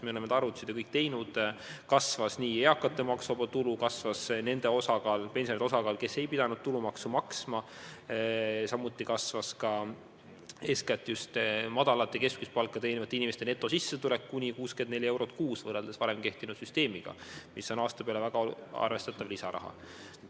Me oleme need arvutused teinud: kasvanud on eakate maksuvaba tulu, kasvanud on nende pensionäride osakaal, kes ei ole pidanud tulumaksu maksma, samuti on kasvanud eeskätt madalat ja keskmist palka teenivate inimeste netosissetulek kuni 64 eurot kuus, mis on aasta peale väga arvestatav lisaraha.